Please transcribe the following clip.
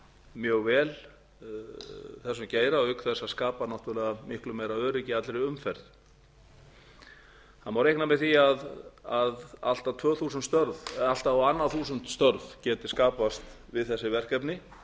mjög vel þessum geira auk þess að skapa náttúrlega miklu meira öryggi í allri umferð það má reikna með því að allt á annað þúsund störf geti skapast við þessi verkefni